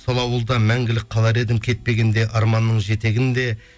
сол ауылда мәңгілік қалар едім кетпегенде арманның жетегінде